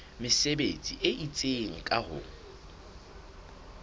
mesebetsi e itseng ka ho